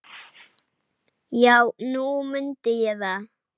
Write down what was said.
Já, nú mundi ég það.